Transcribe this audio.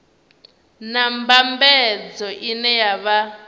na mbambadzo ine ya vha